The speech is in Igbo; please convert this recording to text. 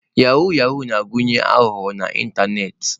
Yahoo Yahoo na-agụnye aghụghọ n'ịntanetị